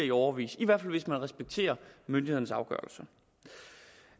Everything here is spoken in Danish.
i årevis i hvert fald hvis man respekterer myndighedernes afgørelse